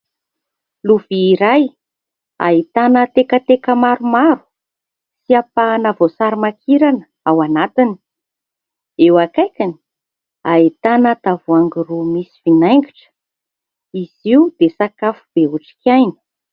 Lovia iray ahitana tekateka maromaro sy ampahana voasary makirana ao anatiny. Eo akaikiny ahitana tavoahangy roa misy vinaingitra. Izy io dia sakafo be otrikaina.